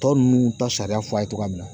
Tɔ ninnu ta sariya fɔ a ye cogoya min na